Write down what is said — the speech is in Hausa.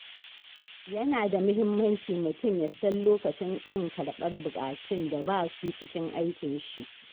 Yana da mahimmanci mutum ya san lokacin ƙin karɓar buƙatun da ba su cikin aikinshi.